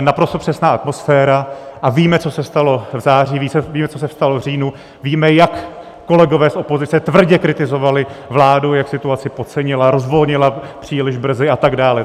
naprosto přesná atmosféra, a víme, co se stalo v září, víme, co se stalo v říjnu, víme, jak kolegové z opozice tvrdě kritizovali vládu, jak situaci podcenila, rozvolnila příliš brzy a tak dále.